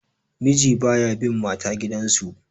miji ba ya bn mata gidansu